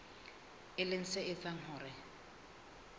e leng se etsang hore